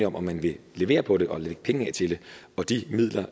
om om man vil levere på det og lægge penge af til det og de midler